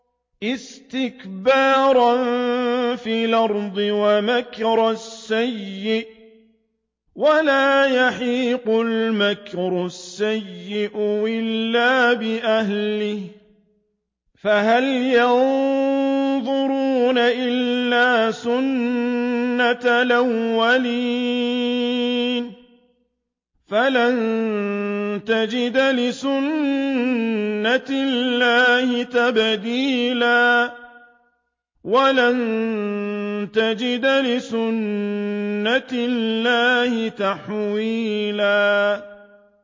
اسْتِكْبَارًا فِي الْأَرْضِ وَمَكْرَ السَّيِّئِ ۚ وَلَا يَحِيقُ الْمَكْرُ السَّيِّئُ إِلَّا بِأَهْلِهِ ۚ فَهَلْ يَنظُرُونَ إِلَّا سُنَّتَ الْأَوَّلِينَ ۚ فَلَن تَجِدَ لِسُنَّتِ اللَّهِ تَبْدِيلًا ۖ وَلَن تَجِدَ لِسُنَّتِ اللَّهِ تَحْوِيلًا